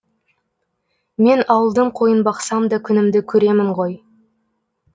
мен ауылдың қойын бақсам да күнімді көремін ғой